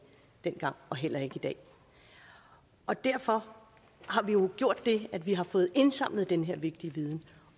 dengang og heller ikke i dag og derfor har vi jo gjort det at vi har fået indsamlet den her vigtige viden